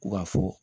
U ka fɔ